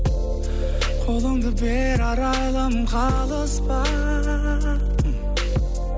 қолыңды бер арайлым қалыспа